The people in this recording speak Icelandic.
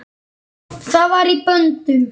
Hann var í böndum.